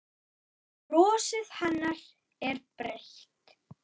Og brosið hennar er breitt.